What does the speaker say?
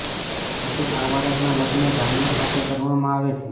પછી આ બાળકના લગ્ન જાનવર સાથે કરવામાં આવે છે